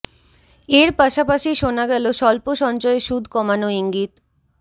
এর পাশাপাশি শোনা গেল স্বল্প সঞ্চয়ে সুদ কমানো ইঙ্গিত